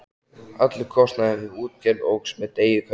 Allur kostnaður við útgerð óx með degi hverjum.